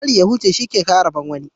A bari ya huce shi ke kawo rabon wani.